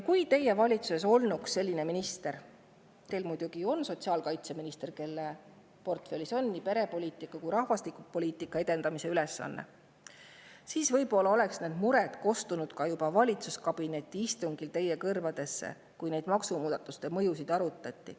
Kui teie valitsuses olnuks minister – teil muidugi on sotsiaalkaitseminister –, kelle portfellis on nii perepoliitika kui ka rahvastikupoliitika edendamise ülesanne, siis võib-olla oleksid need mured kostnud valitsuskabineti istungil ka teie kõrvu, kui neid maksumuudatuste mõjusid arutati.